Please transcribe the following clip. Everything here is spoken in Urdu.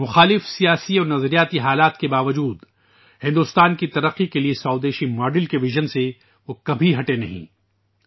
مخالف سیاسی اور نظریاتی حالات کے باوجود ، ہندوستان کی ترقی کے لیے دیسی ماڈل کے وژن سے وہ کبھی پیچھے نہیں ہٹے